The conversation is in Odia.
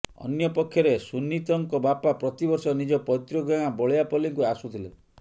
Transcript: ଅନ୍ୟପକ୍ଷରେ ସୁନିତଙ୍କ ବାପା ପ୍ରତିବର୍ଷ ନିଜ ପ୘ତୃକ ଗାଁ ବଳିଆପଲ୍ଲୀକୁ ଆସୁଥିଲେ